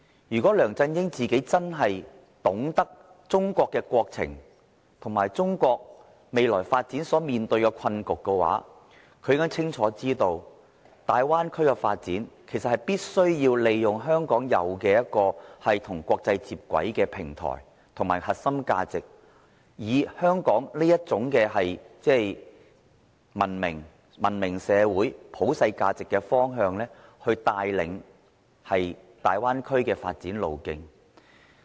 如果梁振英真的懂得中國的國情，以及了解中國未來發展所面對的困局的話，他應該清楚知道，大灣區的發展必須利用香港擁有與國際接軌的平台及核心價值，以香港的文明社會、普世價值的方向，帶領大灣區的發展路徑。